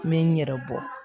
N bɛ n yɛrɛ bɔ